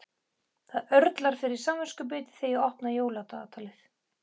Það örlar fyrir samviskubiti þegar ég opna jóladagatalið.